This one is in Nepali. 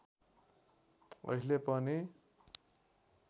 अहिले पनि